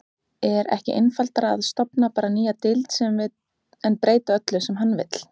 Er ekki einfaldara að stofna bara nýja deild en breyta öllu sem hann vill?